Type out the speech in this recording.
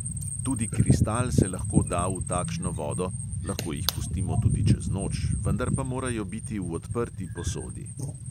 Tudi kristal se lahko da v takšno vodo, lahko jih pustimo tudi čez noč, vendar pa morajo biti v odprti posodi.